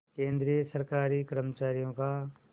केंद्रीय सरकारी कर्मचारियों का